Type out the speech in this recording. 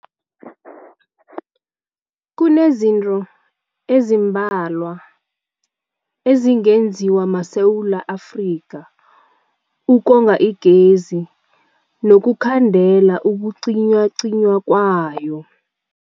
Kunezinto ezimbalwa ezingenziwa maSewula Afrika ukonga igezi nokukhandela ukucinywacinywa kwayo.